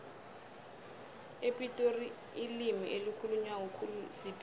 epitori ilimi elikhulunywa khulu sipedi